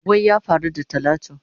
Wai ya faru da talatu?